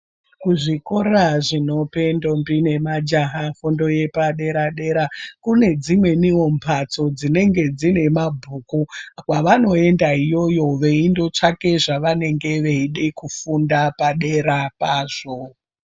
Kuzvikora zvinope ndombi nemajaha fundo yepadera-dera ,kune dzimweniwo mphatso dzinenge dzine mabhuku, kwavanoenda iyoyo veindotsvake zvavanenge veide kufunda padera pazvo.